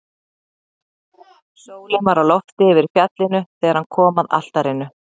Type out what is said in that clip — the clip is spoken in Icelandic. Sólin var á lofti yfir fjallinu þegar hann kom að altarinu.